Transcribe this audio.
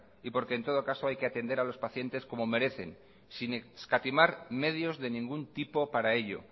y porque en todo caso hay que atender a los pacientes como merecen sin escatimar medios de ningún tipo para ello